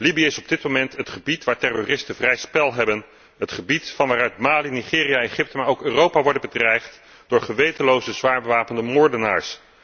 Libië is op dit moment het gebied waar terroristen vrij spel hebben, het gebied van waaruit Mali, Nigeria en Egypte, maar ook Europa worden bedreigd door gewetenloze, zwaar bewapende moordenaars.